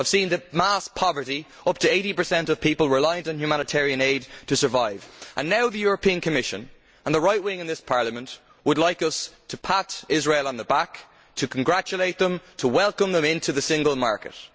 I have seen the mass poverty up to 80 of people rely on humanitarian aid to survive and now the European Commission and the right wing in this Parliament would like us to pat Israel on the back, to congratulate it, to welcome it into the single market.